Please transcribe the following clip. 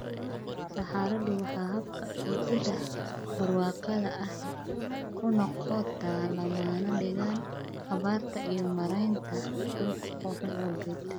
Saxaradu waa habka ay ciidda barwaaqada ahi u noqoto lama degaan abaarta iyo maaraynta dhulka oo xun awgeed.